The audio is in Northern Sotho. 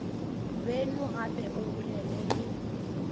beno gape o bolele le